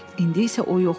İndi isə o yoxdur.